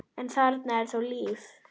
en þarna er þó líf.